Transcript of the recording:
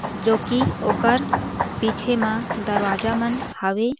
जो की ओकर पीछे मा दरवाजा मन हावे।